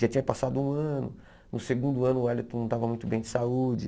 Já tinha passado um ano, no segundo ano o Wellington não estava muito bem de saúde.